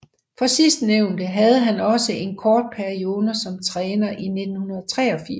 For sidstnævnte havde han også en kort periode som træner i 1983